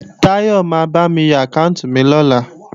Táyọ̀ ma bámi yọ àkáànti mi lọ́la